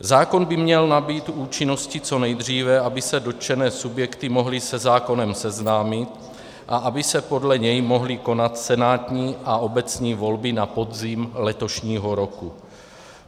Zákon by měl nabýt účinnosti co nejdříve, aby se dotčené subjekty mohly se zákonem seznámit a aby se podle něj mohly konat senátní a obecní volby na podzim letošního roku.